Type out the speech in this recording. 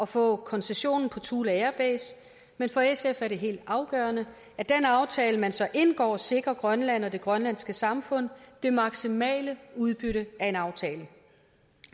få koncessionen på thule air base men for sf er det helt afgørende at den aftale man så indgår sikrer grønland og det grønlandske samfund det maksimale udbytte af en aftale